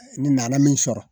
Ni n nana min sɔrɔ